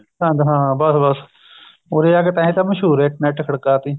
ਸਰਹਿੰਦ ਹਾਂ ਬੱਸ ਬੱਸ ਉਰੇ ਆ ਕੇ ਤਾਂਹੀ ਤਾਂ ਮਸ਼ਹੂਰ ਹੋਏ ਇੱਟ ਨਾਲ ਇੱਟ ਖੜਕਾ ਤੀ